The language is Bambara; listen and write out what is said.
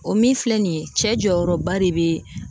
O min filɛ nin ye cɛ jɔyɔrɔba de bɛ